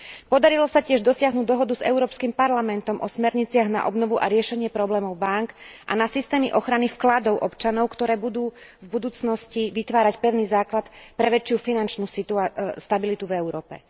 Podarilo sa tiež dosiahnuť dohodu s Európskym parlamentom o smerniciach na obnovu a riešenie problémov bánk a na systémy ochrany vkladov občanov, ktoré budú v budúcnosti vytvárať pevný základ pre väčšiu finančnú stabilitu v Európe.